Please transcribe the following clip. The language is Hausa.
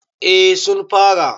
eh sun fara